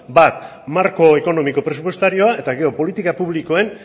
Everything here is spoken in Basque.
bat marko ekonomiko presupuestarioa eta gero politika publikoen